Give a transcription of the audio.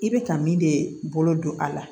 I bɛ ka min de bolo don a la